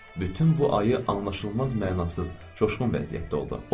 Bütün bu ayı anlaşılmaz, mənasız, coşqun vəziyyətdə oldu.